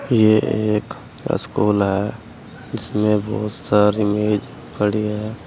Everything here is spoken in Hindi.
ये एक स्कूल है जिसमें बहुत सारी मेज पड़ी है।